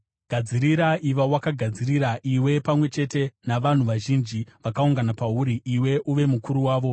“ ‘Gadzirira; iva wakagadzirira, iwe pamwe chete navanhu vazhinji vakaungana pauri, iwe uve mukuru wavo.